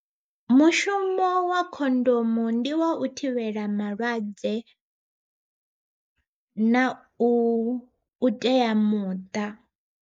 Mushumo wa khondomo ndi wa u thivhela malwadze, na u tea muṱa.